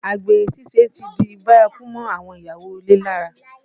Àgbèrè ṣíṣe ti di bárakú mọ́ àwọn ìyàwó ilé lára